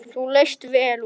Þú leist vel út.